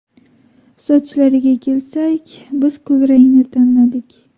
Sochlariga kelsak, biz kulrangni tanladik.